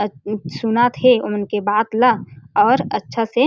अउ कुछ सुनत हे ओ मन के बात ला और अच्छा से --